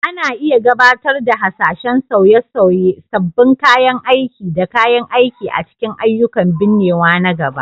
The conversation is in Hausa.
Ana iya gabatar da hasashen sauye-sauye, sabbin kayan aiki da kayan aiki a cikin ayyukan binnewa na gaba